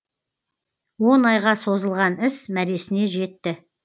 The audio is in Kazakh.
он айға созылған іс мәресіне жетті